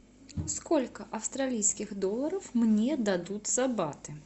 сколько австралийских долларов мне дадут за баты